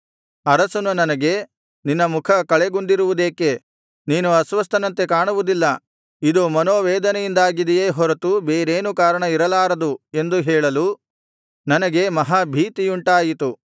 ಅರಸನು ನನಗೆ ನಿನ್ನ ಮುಖ ಕಳೆಗುಂದಿರುವುದೇಕೆ ನೀನು ಅಸ್ವಸ್ಥನಂತೆ ಕಾಣುವುದಿಲ್ಲ ಇದು ಮನೋವೇದನೆಯಿಂದಾಗಿದೆಯೇ ಹೊರತು ಬೇರೇನೂ ಕಾರಣ ಇರಲಾರದು ಎಂದು ಹೇಳಲು ನನಗೆ ಮಹಾ ಭೀತಿಯುಂಟಾಯಿತು